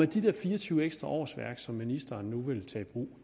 de der fire og tyve ekstra årsværk som ministeren nu vil tage i brug